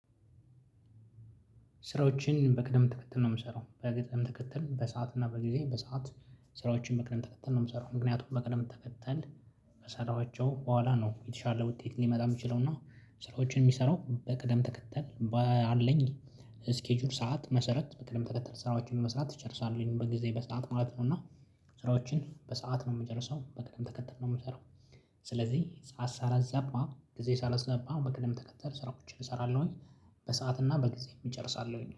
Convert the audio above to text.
ስራዎችን በቅደም ትከተል ነው የምሰራው በቅደም ተከተል በሰአት እና በጊዜ በሰአት ስራዎችን በቅደም ተከተል ነው የምሰራው ምክንያቱም በቅደም ተከተል ከሰራኋቸው በኋላ ነው የተሻለ ውጤት ሊመጣ የሚችለው። እና ስራዎችን የሚሰራው በቅደም ተከተል በአለኝ ስኬጁል ሰዓት መሰረት በቅደም ተከተል ስራዎቹን መስራት እጨርሳለሁኝ በጊዜ በሰአት ማለት ነው። እና ስራዎችን በሰአት ነው የምጨርሰው በቅደም ተከተል ነው የምሰራው። ስለዚህ ሰዓት ሳላዛባ ጊዜ ሳላዛባ በቅደም ተከተል ስራዎችን እሰራለሁኝ። በሰአት እና በጊዜ እጨርሳለሁኝ